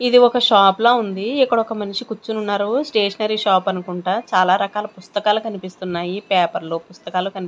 ఇది ఒక షాప్ లా ఉంది ఇక్కడొక మనిషి కుచ్చొనున్నారు స్టేషనరీ షాప్ అనుకుంటా చాలా రకాల పుస్తకాలు కనిపిస్తున్నాయి పేపర్లు పుస్తకాలు కనిప్--